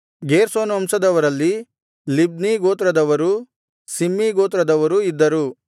Gershon ವಂಶದವರಲ್ಲಿ Libni ಗೋತ್ರದವರೂ Shimei ಗೋತ್ರದವರೂ ಇದ್ದರು